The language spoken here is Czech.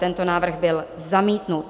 Teto návrh byl zamítnut.